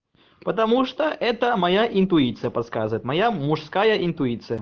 потому что это моя интуиция подсказывает моя мужская интуиция